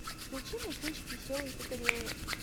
включи мне кинчик веселые и загорелые